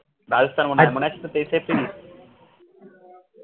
রাজস্থান মনে হয় মনে আছে তোর তেইশ april